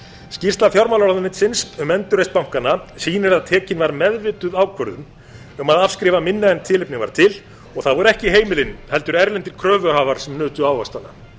skýrsla fjármálaráðherra um endurheimt bankanna sýnir að tekin var meðvituð ákvörðun um að afskrifa minna en tilefni var til og það voru ekki heimilin heldur erlendir kröfuhafar sem nutu ávaxtanna